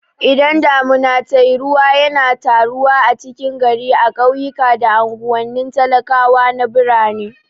Idan damuna tayi ruwa yana taruwa a cikin gari a ƙauyuka da anguwanin talakawa na birane